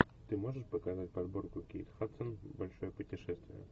ты можешь показать подборку кейт хадсон большое путешествие